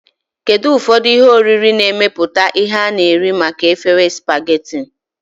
Kedu ụfọdụ ihe oriri na-emepụta ihe na nri maka efere spaghetti?